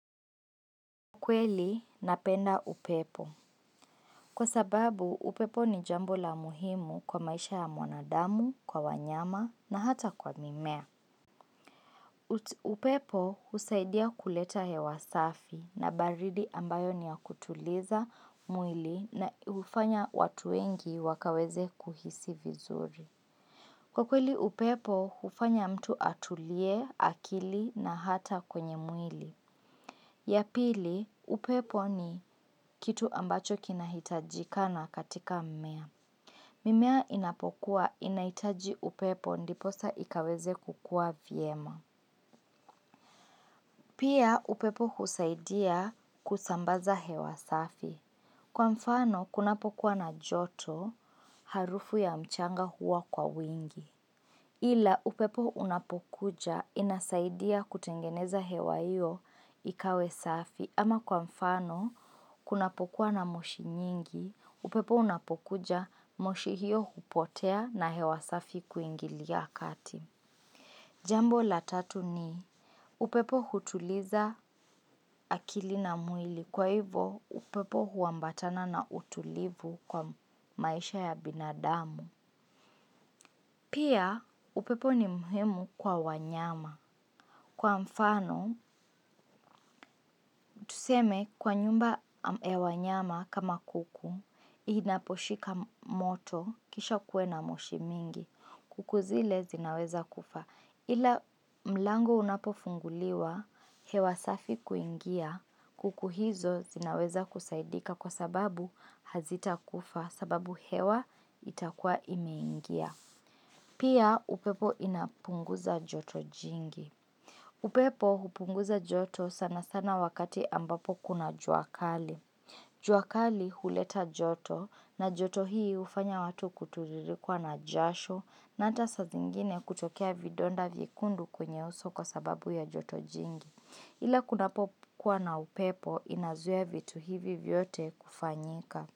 Kweli, napenda upepo. Kwa sababu, upepo ni jambo la muhimu kwa maisha ya mwanadamu, kwa wanyama na hata kwa mimea. Upepo husaidia kuleta hewa safi na baridi ambayo ni ya kutuliza mwili hufanya watu wengi wakaweze kuhisi vizuri. Kwa kweli, upepo, hufanya mtu atulie akili na hata kwenye mwili. Ya pili, upepo ni kitu ambacho kinahitajika na katika mmea. Mimea inapokua inahitaji upepo ndipo sa ikaweze kukua vyema. Pia upepo husaidia kusambaza hewa safi. Kwa mfano, kunapokuwa na joto harufu ya mchanga huwa kwa wingi. Ila upepo unapokuja inasaidia kutengeneza hewa hiyo ikawe safi. Ama kwa mfano, kunapokuwa na moshi nyingi, upepo unapokuja moshi hiyo hupotea na hewa safi kuingilia kati. Jambo la tatu ni, upepo hutuliza akili na mwili. Kwa hivo, upepo huambatana na utulivu kwa maisha ya binadamu. Pia, upepo ni muhimu kwa wanyama. Kwa mfano, tuseme kwa nyumba ya wanyama kama kuku, inaposhika moto kisha kuwe na moshi mingi, kuku zile zinaweza kufa. Ila mlango unapofunguliwa, hewa safi kuingia, kuku hizo zinaweza kusaidika kwa sababu hazita kufa sababu hewa itakuwa imeingia. Pia upepo inapunguza joto jingi. Upepo hupunguza joto sana sana wakati ambapo kuna jua kali. Jua kali huleta joto na joto hii hufanya watu kutitirikwa na jasho na hata saa zingine kutokea vidonda vyekundu kwenye uso kwa sababu ya joto jingi. Ila kunapokuwa na upepo inazuia vitu hivi vyote kufanyika.